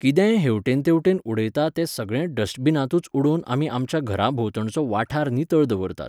कितेंय हेवटेन तेवटेन उडयता तें सगळें डस्टबिनांतूच उडोवन आमी आमच्या घराभोंवतणचो वाठार नितळ दवरतात